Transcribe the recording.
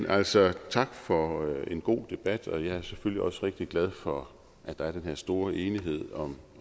altså tak for en god debat og jeg er selvfølgelig også rigtig glad for at der er den her store enighed om